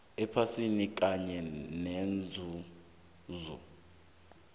ephasini kanye nenzuzo